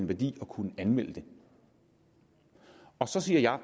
værdi at kunne anmelde det så siger jeg at